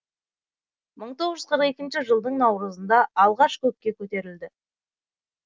мың тоғыз жүз қырық екі жылдың наурызында алғаш көкке көтерілді